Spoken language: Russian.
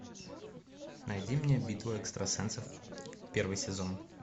найди мне битва экстрасенсов первый сезон